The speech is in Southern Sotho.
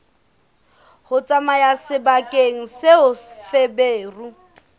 ho tsamaya sebakeng seo feberu